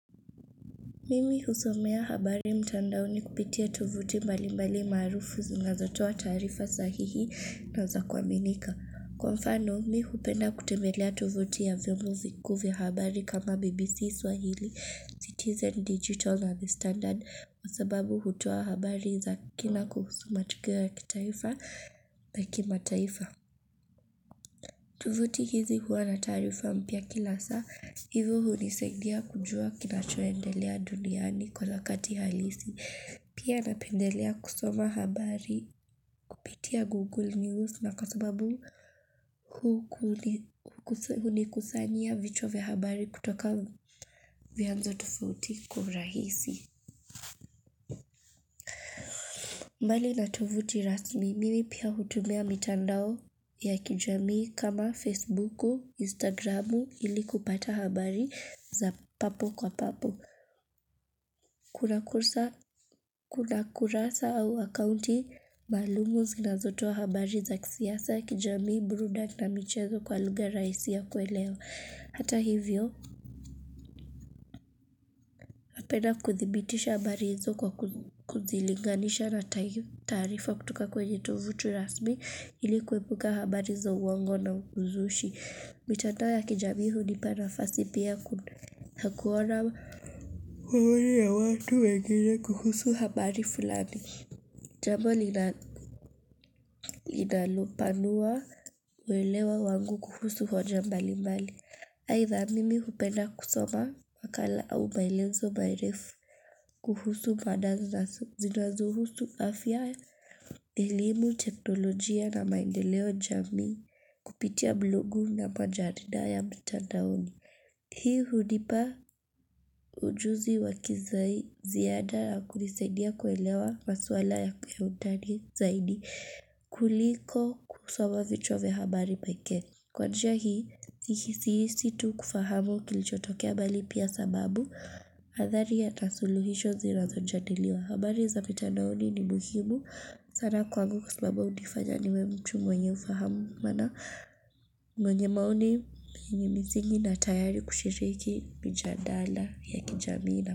Mimi husomea habari mtandaoni kupitia tuvuti malimbali maarufu zingazatoa taarifa sahihi na zakuaminika. Kwa mfano, mimi hupenda kutembelea tuvuti ya vyombo vikuu vya habari kama BBC Swahili, Citizen Digital na The Standard, kwa sababu hutoa habari za kina kuhusu matukio kitaifa na kimataifa. Tuvuti hizi huwa na taarifu mpya kila saa, hivyo hunisaidia kujua kinachoendelea duniani kwa wakati halisi. Pia napendelea kusoma habari, kupitia Google News na kwa sababu hunikusanyia vichwa vya habari kutoka vianzo tofauti kwa urahisi. Mbali na tovuti rasmi, mimi pia hutumia mitandao ya kijamii kama Facebooku, Instagramu ili kupata habari za papo kwa papo. Kuna kurasa au akounti maalum zinazotoa wa habari za kisiasa kijamii, burudani na michezo kwa lugha raisi ya kuelewa. Hata hivyo, napenda kuthibitisha habari hizo kwa kuzilinganisha na taarifa kutoka kwenye tovutu rasmi ili kuepuka habari za uongo na uzushi. Mitandao ya kijamii hunipa nafasi pia ya kuona habari ya watu wengine kuhusu habari fulani. Jambo linalopanua welewa wangu kuhusu hoja mbali mbali. Aitha mimi hupenda kusoma wakala au maelezo marefu kuhusu mada zinazohusu afya elimu teknolojia na maendeleo jamii kupitia blogu na majarida ya mitandaoni. Hii hunipa ujuzi wakiziada na kunisaidia kuelewa maswala ya kiundani zaidi kuliko kusoma vichwa vya habari pekee. Kwa njia sihisi tu kufahamu kilichotokea bali pia sababu, athari hata suluhisho zinazo jadiliwa habari za mitandaoni ni muhimu. Sana kwangu mtu mwenye ufahamu mwenye maoni yenye misingi na tayari kushiriki michandanda ya kijamii na.